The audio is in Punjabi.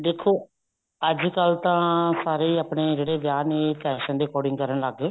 ਦੇਖੋ ਅੱਜਕਲ ਤਾਂ ਸਾਰੇ ਆਪਨੇ ਜਿਹੜੇ ਵਿਆਹ ਨੇ fashion ਦੇ according ਕਰਨ ਲੱਗ ਗਏ